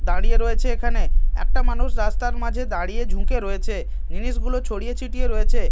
দাঁড়িয়ে রয়েছে এখানে একটা মানুষ রাস্তার মাঝে দাঁড়িয়ে ঝুঁকে রয়েছে জিনিসগুলো ছড়িয়ে ছিটিয়ে রয়েছে।